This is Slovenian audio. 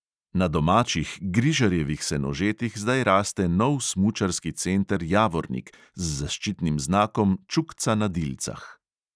Na domačih, grižarjevih senožetih zdaj raste nov smučarski center javornik z zaščitnim znakom čukca na dilcah.